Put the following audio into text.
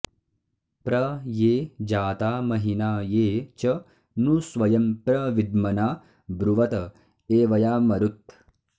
प्र ये जाता महिना ये च नु स्वयं प्र विद्मना ब्रुवत एवयामरुत्